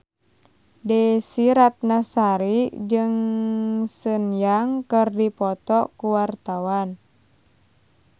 Desy Ratnasari jeung Sun Yang keur dipoto ku wartawan